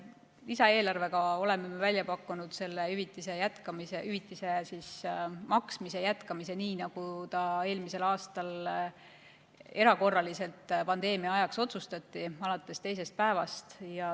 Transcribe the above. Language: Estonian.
Lisaeelarvega oleme välja pakkunud selle hüvitise maksmise jätkamise nii, nagu ta eelmisel aastal erakorraliselt pandeemia ajaks otsustati – alates teisest päevast.